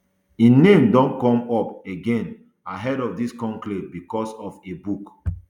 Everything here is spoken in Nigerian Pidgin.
im name don come up again ahead of dis conclave bicos of a book